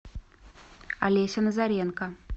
олеся назаренко